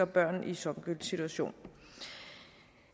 børn i songüls situation